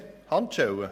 Handschellen